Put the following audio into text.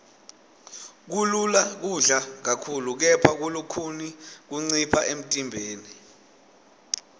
kulula kudla kakhulu kepha kulukhuni kuncipha emntimbeni